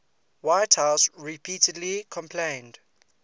whitehouse repeatedly complained